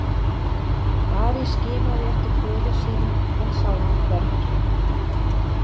Ari skimaði eftir föður sínum en sá hann hvergi.